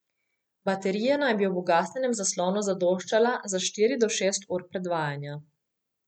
Baterija naj bi ob ugasnjenem zaslonu zadoščala za štiri do šest ur predvajanja.